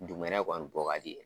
Dugumɛnɛ kɔni bɔ ka di .